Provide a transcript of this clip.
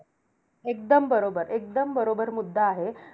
एकदम बरोबर. एकदम बरोबर मुद्दा आहे.